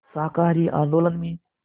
शाकाहारी आंदोलन में